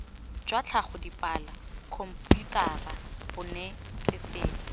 jwa tlhago dipalo khomputara bonetetshi